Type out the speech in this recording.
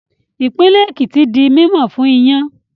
Ìpínlẹ̀ Èkìtì di mímọ̀ fún iyán